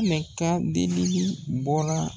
ka delili bɔra